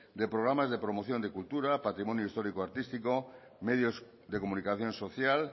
de programas de promoción de cultura patrimonio histórico artístico medios de comunicación social